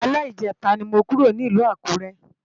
Alè Ijètá ni mó kúró ni Ilù Akure